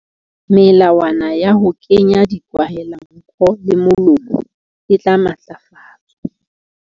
Melawana ya ho kenya dikwahelanko le molomo e tla matlafatswa.